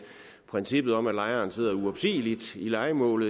princippet om at lejeren sidder i et uopsigeligt lejemål